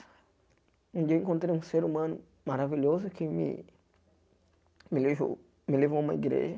Um dia eu encontrei um ser humano maravilhoso que me me levou me levou uma igreja.